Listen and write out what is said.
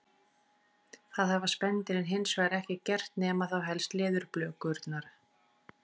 Það hafa spendýrin hins vegar ekki gert nema þá helst leðurblökurnar.